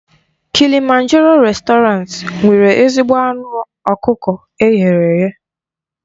Kilịmanjaroo réstọranti nwere ezigbo anụ ọkụkọ eghere eghe.